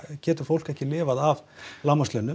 getur fólk ekki lifað á lágmarkslaunum